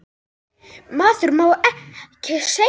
Maður má ekkert segja.